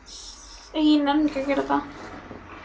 segi ég og hljóma nú alveg eins og prestur, fullkomlega